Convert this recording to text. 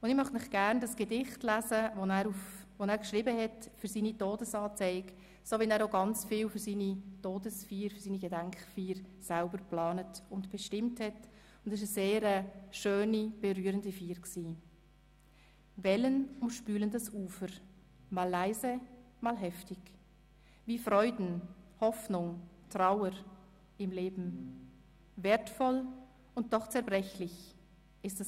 Ich möchte Ihnen gerne das Gedicht vorlesen, das er für seine Todesanzeige geschrieben hat, so, wie er auch sonst ganz viel für seine Gedenkfeier selber geplant und bestimmt hat.